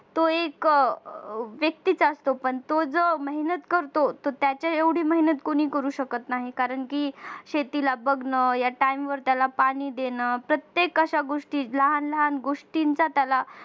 तो एक व्यक्ती असतो आणि तो जो मेहनत करतो तो त्याच्या एवढी मेहनत कोणी करू शकत नाही कारण की शेतीला बघणं या time वर त्याला पाणी देण प्रत्येक अशा गोष्टी लहान लहान गोष्टींचा त्याला